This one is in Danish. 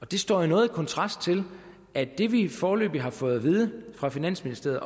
det står jo noget i kontrast til at det vi foreløbig har fået at vide fra finansministeriet